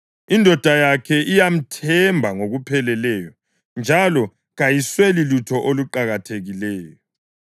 Indoda yakhe iyamthemba ngokupheleleyo njalo kayisweli lutho oluqakathekileyo.